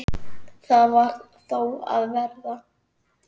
Það varð þó að verða.